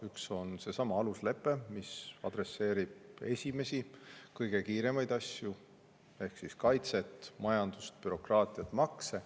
Üks on seesama aluslepe, mis adresseerib esimesi, kõige kiiremaid asju ehk siis kaitset, majandust, bürokraatiat, makse.